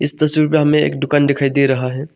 तस्वीर में हमें एक दुकान दिखाई दे रहा है।